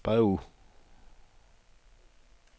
bagud